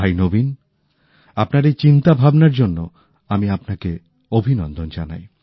ভাই নবীন আপনার এই চিন্তাভাবনার জন্য আমি আপনাকে অভিনন্দন জানাই